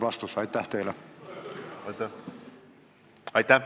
Aitäh!